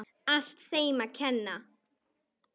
Allt þeim að kenna.!